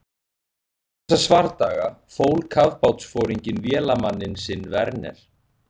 Eftir þessa svardaga fól kafbátsforinginn vélamann sinn Werner